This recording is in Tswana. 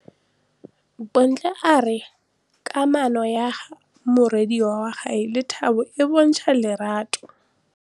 Bontle a re kamanô ya morwadi wa gagwe le Thato e bontsha lerato.